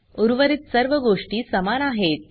उर्वरित सर्व गोष्टी समान आहेत